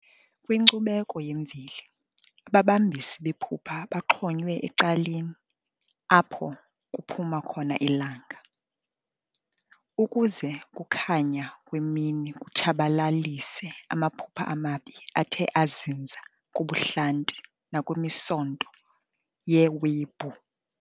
Kwinkcubeko yemveli, ababambisi bephupha baxhonywe ecaleni apho kuphuma khona ilanga, ukuze ukukhanya kwemini kutshabalalise amaphupha amabi athe azinza kubuhlanti nakwimisonto yewebhu.